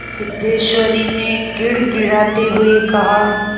सिद्धेश्वरी ने गिड़गिड़ाते हुए कहा